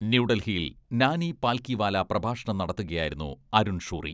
ന്യൂഡൽഹിയിൽ നാനി പാൽകിവാല പ്രഭാഷണം നടത്തുകയായിരുന്നു അരുൺ ഷൂറി.